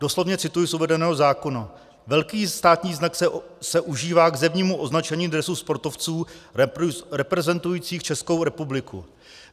Doslovně cituji z uvedeného zákona: Velký státní znak se užívá k zevnímu označení dresu sportovců reprezentujících Českou republiku.